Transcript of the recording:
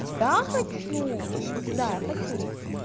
я хочу да я хочу